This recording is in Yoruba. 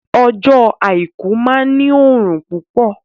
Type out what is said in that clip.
Ọjọ́ àìkú máa ní òrùn púpọ̀